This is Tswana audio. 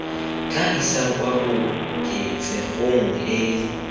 tla isang kwa koketsegong e